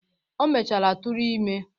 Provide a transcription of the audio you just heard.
O mechara tụrụ ime.